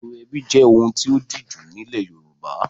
Ètò ẹbí jẹ́ ohun tí ó díjú nílẹ̀ Yorùbá.